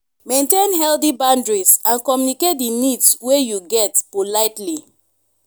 maintain healthy boundries and communicate di needs wey you get politely